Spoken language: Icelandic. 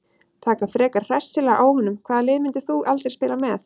Taka frekar hressilega á honum Hvaða liði myndir þú aldrei spila með?